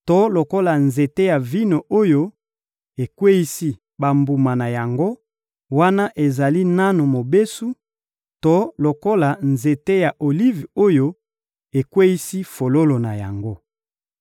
to lokola nzete ya vino oyo ekweyisi bambuma na yango, wana ezali nanu mobesu to lokola nzete ya olive oyo ekweyisi fololo na yango.